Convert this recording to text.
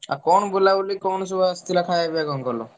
ଆଉ କଣ ବୁଲାବୁଲି କଣ ସବୁ ଆସିଥିଲା ଖାୟା ପିୟା କଣ କଲ?